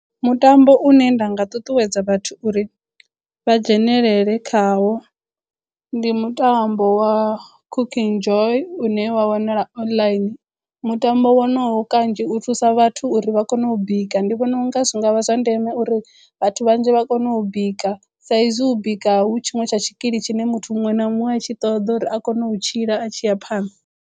Mutambo une nda nga ṱuṱuwedza vhathu uri vha dzhenelele khawo ndi mutambo wa Cooking Joy une wa wanala online. Mutambo wonowo kanzhi u thusa vhathu uri vha kono u bika. Ndi vhona unga zwi nga vha zwa ndeme uri vhathu vhanzhi vha kono u bika sa izwi u bika hu tshiṅwe tsha tshikili tshine muthu muṅwe na muṅwe a tshi ṱoḓa uri a kono u tshila a tshi ya phanḓa.